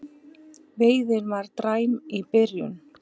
Veiðin var því dræm í byrjun